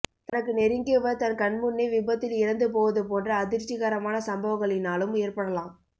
தனக்கு நெருங்கியவர் தன் கண் முன்னே விபத்தில் இறந்து போவதுபோன்ற அதிர்ச்சி கரமான சம்பவங்களினாலும் ஏற்படலாம்